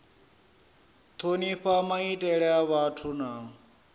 thonifha maitele a vhathu na